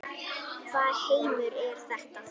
Hvaða heimur er þetta?